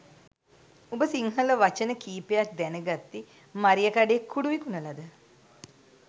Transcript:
උඹ සිංහල වචන කීපයක් දැනගත්තෙ මරියකඩේ කුඩු විකුණලද?